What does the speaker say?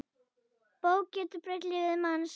Bók getur breytt lífi manns.